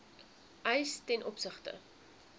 eis ten opsigte